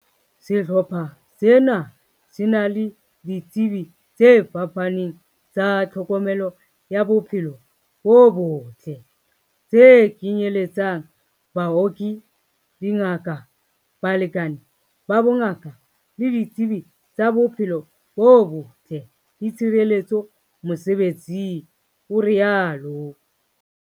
"Sehlopha sena se na le di tsebi tse fapaneng tsa tlhokomelo ya bophelo bo botle, tse kenye letsang, baoki, dingaka, balekani ba bongaka le ditsebi tsa bophelo bo botle le tshireletso mosebe tsing," o rialo.